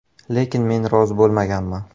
Lekin men rozi bo‘lmaganman.